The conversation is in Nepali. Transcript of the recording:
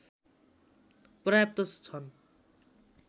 पर्याप्त छन्